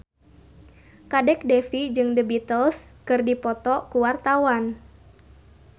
Kadek Devi jeung The Beatles keur dipoto ku wartawan